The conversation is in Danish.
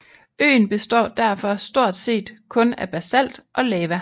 Øen består derfor stort set kun af basalt og lava